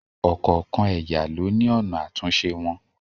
Ọ̀kọ̀ọ̀kan ẹ̀yà ló ní ọ̀nà àtúnṣe wọn.